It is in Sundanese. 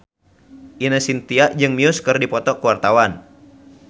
Ine Shintya jeung Muse keur dipoto ku wartawan